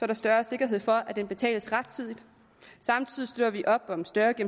er større sikkerhed for at den betales rettidigt samtidig støtter vi op om større